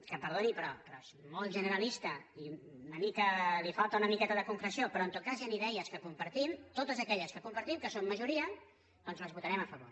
que perdoni però és molt generalista i li falta una miqueta de concreció però en tot cas hi han idees que com·partim totes aquelles que compartim que són majo·ria doncs les votarem a favor